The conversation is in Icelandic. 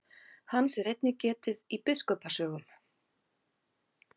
Hans er einnig getið í biskupa sögum.